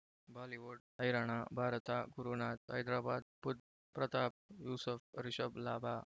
Bollywood ಹೈರಾಣ ಭಾರತ ಗುರುನಾಥ್ ಹೈದರಾಬಾದ್ ಬುಧ್ ಪ್ರತಾಪ್ ಯೂಸುಫ್ ರಿಷಬ್ ಲಾಭ